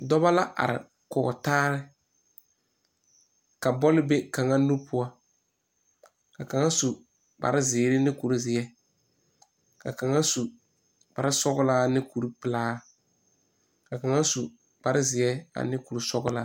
Dɔba la are kɔge taa ka bɔle be kaŋa nu poɔ ka kaŋa su kparezeere ne kurizeɛ ka kaŋa su kparesɔglaa ne kuripelaa ka kaŋa su kparezeɛ ane kurisɔglaa.